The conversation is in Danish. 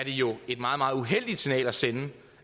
jo et meget meget uheldigt signal at sende